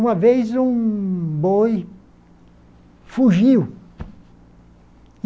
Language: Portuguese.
Uma vez, um boi fugiu.